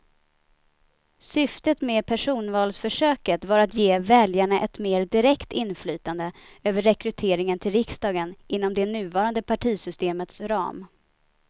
Syftet med personvalsförsöket var att ge väljarna ett mer direkt inflytande över rekryteringen till riksdagen inom det nuvarande partivalssystemets ram.